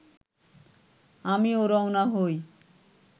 আমিও রওনা হই